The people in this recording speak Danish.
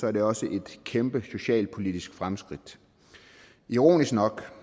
er det også et kæmpe socialpolitisk fremskridt ironisk nok